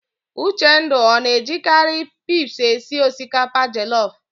Uchendu ọ na-ejikarị pis esi osikapa jelọf?